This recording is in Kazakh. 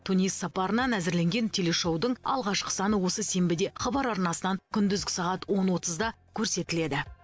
тунис сапарынан әзірленген телешоудың алғашқы саны осы сенбіде хабар арнасынан күндізгі сағат он отызда көрсетіледі